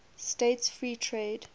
states free trade